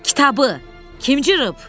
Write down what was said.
Kitabı kim cırıb?